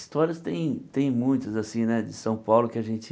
Histórias tem tem muitas, assim, né, de São Paulo que a gente...